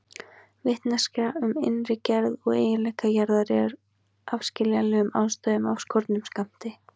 Vitneskja um innri gerð og eiginleika jarðar er af skiljanlegum ástæðum af skornum skammti.